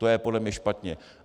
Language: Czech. To je podle mě špatně.